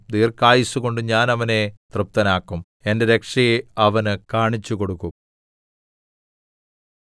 ദീർഘായുസ്സുകൊണ്ട് ഞാൻ അവനെ തൃപ്തനാക്കും എന്റെ രക്ഷയെ അവന് കാണിച്ചുകൊടുക്കും